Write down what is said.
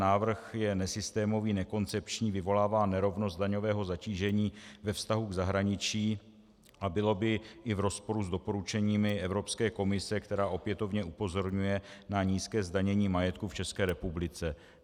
Návrh je nesystémový, nekoncepční, vyvolává nerovnost daňového zatížení ve vztahu k zahraničí a bylo by i v rozporu s doporučeními Evropské komise, která opětovně upozorňuje na nízké zdanění majetku v České republice.